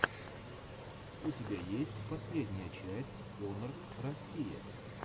у тебя есть последняя часть онор россия